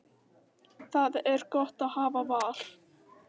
Það er gott að hafa val.